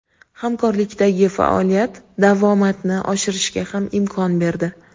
Hamkorlikdagi faoliyat davomatni oshirishga ham imkon berdi.